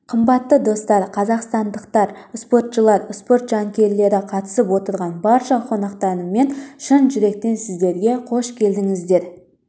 қымбатты достар қазақстандықтар спортшылар спорт жанкүйерлері қатысып отырған барша қонақтар мен шын жүректен сіздерге қош келдіңіздер